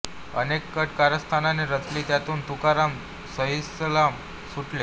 अनेक कट कारस्थाने रचली त्यांतून तुकाराम सहीसलामत सुटले